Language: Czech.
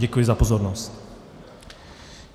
Děkuji za pozornost.